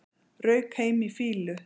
Rauk heim í fýlu